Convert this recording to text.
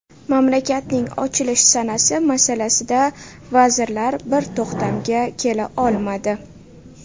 Mamlakatning ochilish sanasi masalasida vazirlar bir to‘xtamga kela olmadi.